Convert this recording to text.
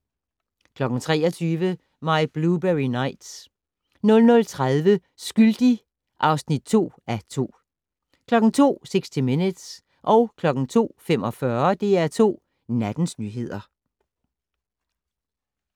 23:00: My Blueberry Nights 00:30: Skyldig (2:2) 02:00: 60 Minutes 02:45: DR2 Nattens nyheder